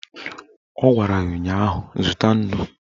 Ọ gwara ya ụnyaahụ "Zụta nnu"!